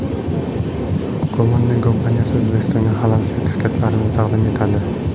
Gollandiya kompaniyasi O‘zbekistonga Halal sertifikatlarini taqdim etadi.